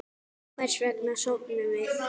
Hvers vegna sofum við?